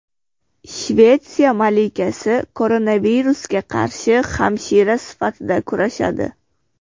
Shvetsiya malikasi koronavirusga qarshi hamshira sifatida kurashadi.